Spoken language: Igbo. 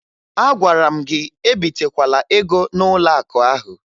Agwara m gị ebitekwala ego n'ụlọakụ ahụ!